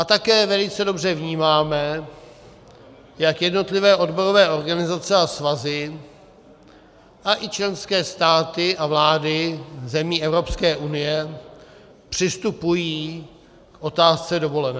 A také velice dobře vnímáme, jak jednotlivé odborové organizace a svazy a i členské státy a vlády zemi Evropské unie přistupují k otázce dovolené.